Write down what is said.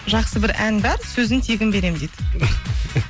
жақсы бір ән бар сөзін тегін беремін дейді